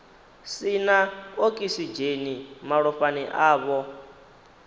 si na okisidzheni malofhani avho